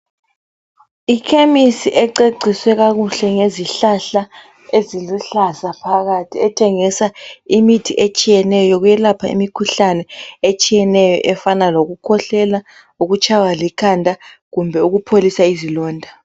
Ikhemisi ececiswe kakuhle ngezihlahla eziluhlaza phakathi. Ethengisa imithi etshiyeneyo yekwelapha imikhuhlane etshiyeneyo efana lokukhwehlela lokutshaywa likhanda kumbe ukupholisa izilonda.